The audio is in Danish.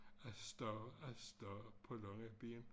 Afsted afsted på lange ben